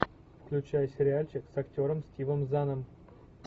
включай сериальчик с актером стивом заном